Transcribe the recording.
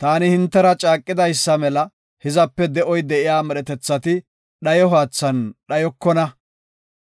Taani hintera caaqidaysa mela hizape de7oy de7iya medhetethati dhayo haathan dhayokona;